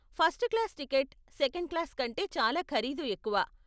First class ticket second class కంటే చాలా ఖరీదు ఎక్కువ.